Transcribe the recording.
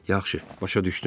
Yaxşı, başa düşdüm.